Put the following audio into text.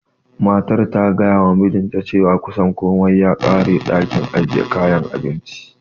Matar ta gayawa mijinta cewa kusan komai ya ƙare a ɗakin ajiye kayan abincinsu.